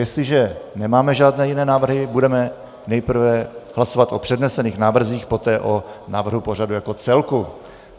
Jestliže nemáme žádné jiné návrhy, budeme nejprve hlasovat o přednesených návrzích, poté o návrhu pořadu jako celku.